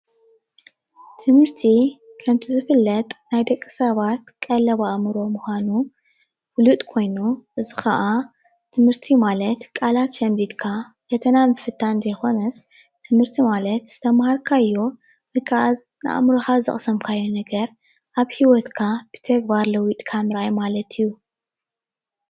ትምርቲ ከምቲ ዝፍለጥ ናይ ደቂ ሰባት ቀለብ ኣእምሮ ምኳኑ ፍሉጥ ኮይኑ እዚ ከዓ ትምርቲ ማለት ቃላት ሸምዲድካ ፈተና ምፍታን ዘይኮነስ ትምርቲ ማለት ዝተምሃርካዮ ወይ ካዓ ንኣእምሮካ ዘቕሰምካዮ ነገር ኣብ ሂወትካ ብተግባር ለዊጥካ ምርኣይ ማለት እዩ።